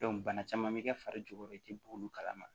bana caman bɛ kɛ fari jukɔrɔ i tɛ bɔ olu kalama